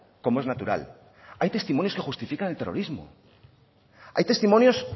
como es natural hay testimonios que justifican el terrorismo hay testimonios